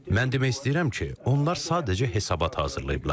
Mən demək istəyirəm ki, onlar sadəcə hesabat hazırlayıblar.